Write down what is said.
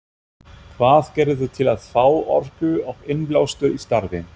Hvað gerirðu til að fá orku og innblástur í starfi?